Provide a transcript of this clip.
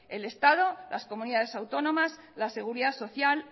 el estado las comunidades autónomas la seguridad social